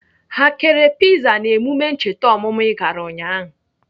Ha kere piza n'emume ncheta ọmụmụ I gara ụnyaahụ?